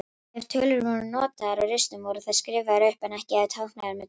Ef tölur voru notaðar á ristum voru þær skrifaðar upp en ekki táknaðar með tölustaf.